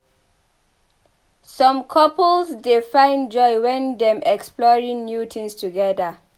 Some couples dey find joy wen dem exploring new things together.